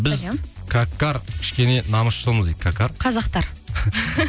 біз какарт кішкене намысшылмыз дейді какарт қазақстар